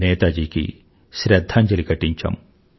నేతాజీకి శ్రధ్ధాంజలి ఘటించాం